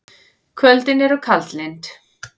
Kvöldin eru kaldlynd.